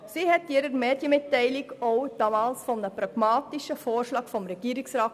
Sie sprach in ihrer Medienmitteilung damals von einem pragmatischen Vorschlag des Regierungsrats.